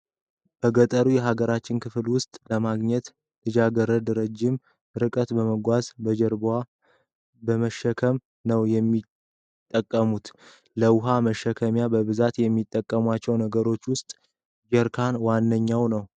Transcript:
በገጠሩ የሀገራችን ክፍል ውሃ ለማግኘት ልጃገረዶች ረጅም ርቀትን በመጓዝ በጀርባቸው በመሸከም ነው የሚጠቀሙት። ለውሃ መሸከሚያ በብዛት ከሚጠቀሟቸው ነገሮች ውስጥ ጀሪካን ዋነኛው ነው።